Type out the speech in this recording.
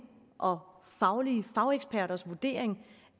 og faglige eksperters vurdering